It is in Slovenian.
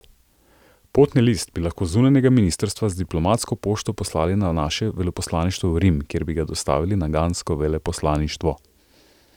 Potni list bi lahko z zunanjega ministrstva z diplomatsko pošto poslali na naše veleposlaništvo v Rim, kjer bi ga dostavili na gansko veleposlaništvo?